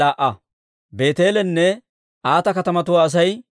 Looda, Hadiidanne Oono katamatuwaa Asay 721.